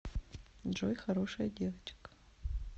джой хорошая девочка